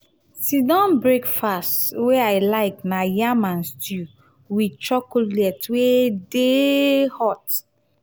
sit-down breakfast wey i like na yam and stew wit chocolate wey dey hot.